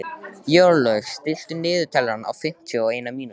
Jórlaug, stilltu niðurteljara á fimmtíu og eina mínútur.